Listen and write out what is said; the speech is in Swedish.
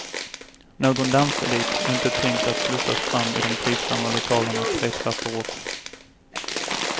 Någon danselit är inte tänkt att slussas fram i de trivsamma lokalerna tre trappor upp.